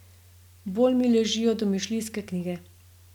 Bolj mi ležijo domišljijske knjige.